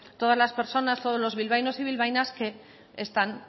todas las personas todos los bilbaínos y bilbaínas que están